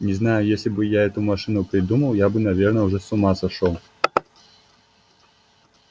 не знаю если бы я эту машину придумал я бы наверное уже с ума сошёл